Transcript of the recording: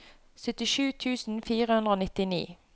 syttisju tusen fire hundre og nittini